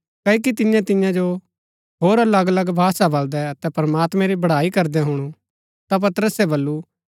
क्ओकि तिन्ये तियां जो होर अलग अलग भाषा बलदै अतै प्रमात्मैं री बड़ाई करदै हुणु ता पतरसे बल्लू